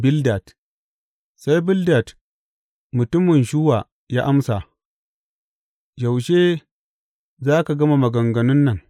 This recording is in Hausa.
Bildad Sai Bildad mutumin Shuwa ya amsa, Yaushe za ka gama maganganun nan?